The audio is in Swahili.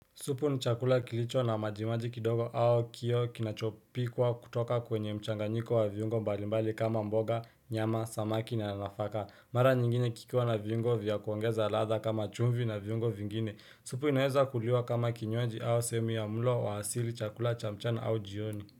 Supu ni chakula kilicho na majimaji kidogo au kio kinachopikwa kutoka kwenye mchanganyiko wa viungo mbalimbali kama mboga, nyama, samaki na nafaka. Mara nyingine kikiwa na viungo vya kuongeza latha kama chumvi na viungo vingine. Supu inaweza kuliwa kama kinywaji au sehemu ya mlo wa hasili chakula cha mchana au jioni.